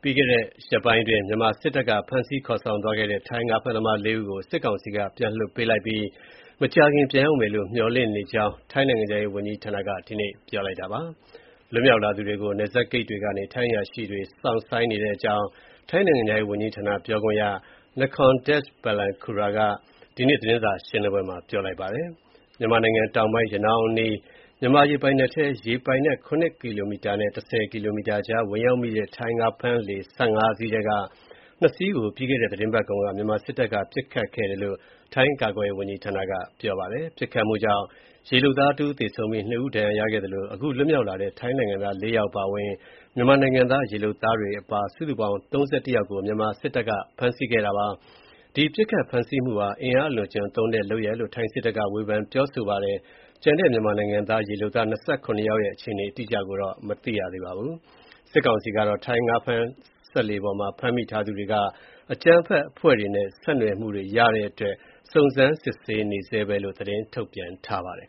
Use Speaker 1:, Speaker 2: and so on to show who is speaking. Speaker 1: ပြီးခဲ့တဲ့ ရက်ပိုင်းအတွင်း မြန်မာစစ်တပ်က ဖမ်းဆီးခေါ်ဆောင်သွားခဲ့တဲ့ ထိုင်းငါးဖမ်းသမား ၄ ယောက်ကို စစ်ကောင်စီက ပြန်လွှတ်ပေးလိုက်တဲ့အကြောင်းနဲ့ မကြာခင် ပြန်ရောက်မယ်လို့ မျှော်လင့်တဲ့အကြောင်း ထိုင်းနိုင်ငံခြားရေးဝန်ကြီးဌာနက ဒီနေ့ ပြောဆိုပါတယ်
Speaker 2: ။ လွတ်မြောက်လာ
Speaker 1: သူတွေကို ပြန်လက်ခံဖို့ နယ်စပ်ဂိတ်တွေကနေ ထိုင်းအရာရှိတွေ စောင့်ဆိုင်းနေတဲ့အကြောင်း ထိုင်း နိုင်ငံခြားရေးဝန်ကြီးဌာန ပြောခွင့်ရ Nikorndej Balankura က ဒီနေ့ သတင်းစာရှင်းလင်းပွဲမှာ ပြောဆိုပါတယ်။ မြန်မာနိုင်ငံတောင်ပိုင်း ရနောင်း အနီး မြန်မာ ရေပိုင်နက်ထဲ ရေပိုင်နက် ၇ ကီလိုမီတာနဲ့ ၁၀ ကီလိုမီတာကြား ဝင်ရောက်မိတဲ့ ထိုင်း ငါးဖမ်းလှေ ၁၅ စီးထဲက ၂ စီးကို ပြီးခဲ့တဲ့ သတင်းပတ်ကုန်က မြန်မာစစ်တပ်က ပစ်ခတ်ခဲ့တယ်လို့ ထိုင်း ကာကွယ်ရေးဝန်ကြီးဌာနက ပြောပါတယ်။ ပစ်ခတ်မှုကြောင့် ရေလုပ်သား တဦး သေဆုံးပြီး ၂ ဦးဒဏ်ရာရခဲ့သလို အခု လွှတ်မြောက်လာတဲ့ ထိုင်းနိုင်ငံသား ၄ ယောက်အပါအဝင် မြန်မာနိုင်ငံသား ရေလုပ်သားတွေ အပါ စုစုပေါင်း ၃၁ ယောက်ကို မြန်မာစစ်တပ်က ဖမ်းဆီးခဲ့တာပါ။ ဒီပစ်ခတ်ဖမ်းဆီးမှုဟာ အင်အားအလွန်အကျွံသုံးတဲ့ လုပ်ရပ်လို့ ထိုင်းစစ်တပ်က ဝေဖန်ပြောဆိုပါတယ်။ ကျန်တဲ့ မြန်မာနိုင်ငံသား ရေလုပ်သား ၂၇ ယောက်ရဲ့ အခြေအနေ အတိအကျကိုတော့ မသိရသေးပါဘူး။ စစ်ကောင်စီကတော့ ထိုင်းငါးဖမ်းစက်လှေပေါ်က ဖမ်းမိသူထားသူတွေမှာ အကြမ်းဖက်အဖွဲ့တွေနဲ့ ဆက်နွယ်မှုတွေ့ရတဲ့အတွက် စုံစမ်းစစ်ဆေးနေဆဲပဲလို့ သတင်းထုတ်ပြန်ပါတယ်